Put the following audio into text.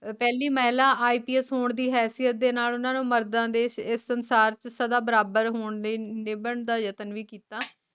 ਪਹਿਲੀ ਮਹਿਲਾ IPS ਹੋਣ ਦ ਹੈਸੀਅਤ ਦੇ ਨਾਲ ਉਨ੍ਹਾ ਨੂੰ ਮਰਦਾ ਦੇ ਸੰਸਾਰ ਚ ਸਦਾ ਬਰਾਬਰ ਹੋਣ ਦੇ ਨਿਭਣ ਦਾ ਯਤਨ ਵੀ ਕੀਤਾ